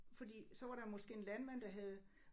Fordi så var der måske en landmand der havde